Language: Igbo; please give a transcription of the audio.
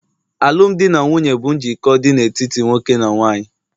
alụmdi na nwunye bụ njikọ dị n'etiti nwoke na nwanyị